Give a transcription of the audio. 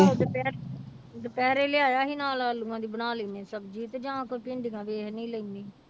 ਆਹੋ ਦੁਪਹਿਰ ਦੁਪਹਿਰੇ ਲਿਆਇਆ ਸੀ ਨਾਲ ਆਲੂਆਂ ਦੀ ਬਣਾ ਲੈਂਦੇ ਹਾਂ ਸਬਜ਼ੀ ਤੇ ਜਾਂ ਕੋਈ ਭਿੰਡੀਆਂ ਲੈਨੀ